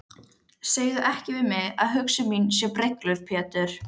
Segðu ekki við mig að hugsun mín sé brengluð Pétur.